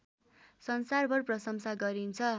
संसारभर प्रसंशा गरिन्छ